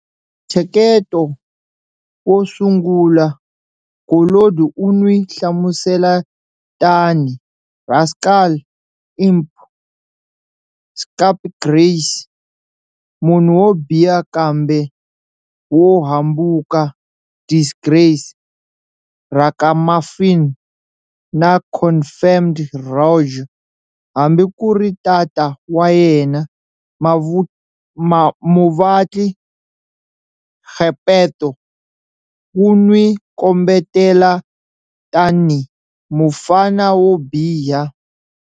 Ntsheketo wo sungula, Collodi u n'wi hlamusela tanihi"rascal,""imp,"" scapegrace", munhu wo biha kumbe wo hambuka,"disgrace,""ragamuffin," na"confirmed rogue," hambi ku ri tata wa yena, muvatli Geppetto, ku n'wi kombetela tanihi"mufana wo biha."